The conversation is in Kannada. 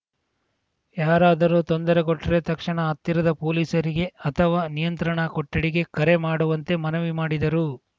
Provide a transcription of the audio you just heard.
ಯಾರಾದರೂ ತೊಂದರೆ ಕೊಟ್ರೇ ತಕ್ಷಣ ಹತ್ತಿರದ ಪೊಲೀಸರಿಗೆ ಅಥವಾ ನಿಯಂತ್ರಣ ಕೊಠಡಿಗೆ ಕರೆ ಮಾಡುವಂತೆ ಮನವಿ ಮಾಡಿದರು